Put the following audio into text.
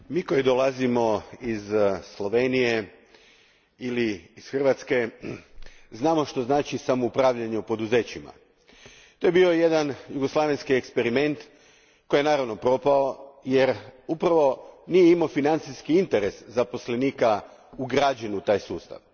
Gospodine predsjedniče, mi koji dolazimo iz Slovenije ili iz Hrvatske znamo što znači samoupravljanje u poduzećima. To je bio jedan jugoslavenski eksperiment koji je, naravno, propao jer nije imao financijski interes zaposlenika ugrađen u taj sustav.